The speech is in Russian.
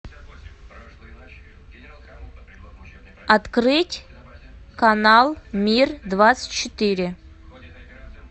открыть канал мир двадцать четыре